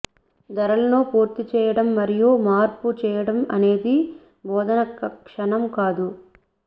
ధరలను పూర్తి చేయడం మరియు మార్పు చేయడం అనేది బోధన క్షణం కాదు